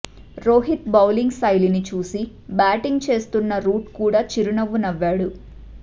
Rohit bowling శైలిని చూసి batting చేస్తున్న రూట్ కూడా చిరునవ్వు నవ్వాడు